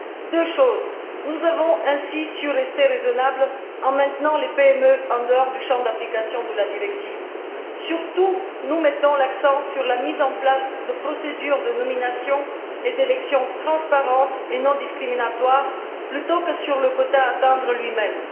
Tout d'abord, nous avons ainsi su rester raisonnables en maintenant les PME en dehors du champ d'application de la directive. Nous mettons surtout l'accent sur la mise en place de procédures de nominations et d'élections transparentes et non discriminatoires plutôt que sur le quota à atteindre lui même.